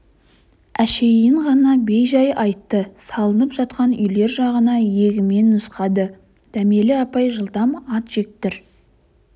әшейін ғана бейжай айтты салынып жатқан үйлер жағын иегімен нұсқады дәмелі апай жылдам ат жектір